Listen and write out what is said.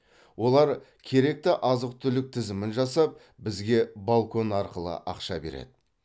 олар керекті азық түлік тізімін жасап бізге балкон арқылы ақша береді